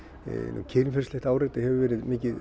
nú kynferðislegt áreiti hefur mikið